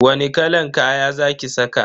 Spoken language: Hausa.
Wani kalan kaya za ki saka?